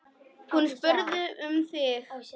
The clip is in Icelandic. Hún spurði um þig.